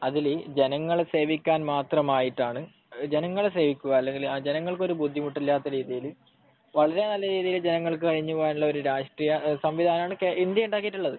ഇനി ജനങ്ങളെ സേവിക്കാൻ മാത്രമായിട്ടാണ് , ജനങ്ങളെ സേവിക്കുക അല്ലെങ്കിൽ ജനങ്ങൾക്ക് ഒരു ബുദ്ധിമുട്ടു ഇല്ലാതെ വളരെ നല്ല രീതിയിൽ ജനങ്ങൾക്ക് കഴിഞ്ഞു പോവാനുള്ള രാഷ്ട്രീയ സംവിധാനമാണ് ഇന്ത്യ ഉണ്ടാക്കിയിട്ടുള്ളത്